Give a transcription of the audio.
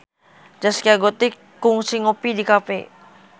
Zaskia Gotik kungsi ngopi di cafe